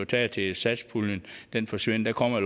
taget til satspuljen forsvinder der kommer